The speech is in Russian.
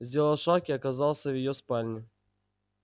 сделал шаг и оказался в её спальне